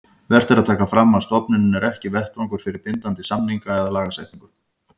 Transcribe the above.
Vert er að taka fram að stofnunin er ekki vettvangur fyrir bindandi samninga eða lagasetningu.